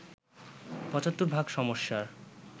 ৭৫ ভাগ সমস্যার